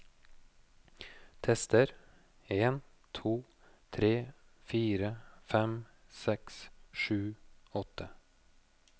Tester en to tre fire fem seks sju åtte